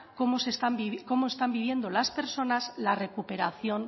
cómo están viviendo las personas la recuperación